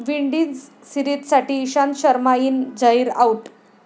Windies सिरीजसाठी Ishant Sharma in, Zaheer out